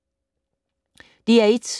DR1